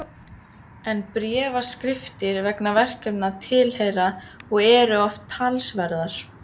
En bréfaskriftir vegna verkefna tilheyra og eru oft talsverðar.